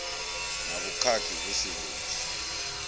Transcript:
na vhukhakhi vhu si vhunzhi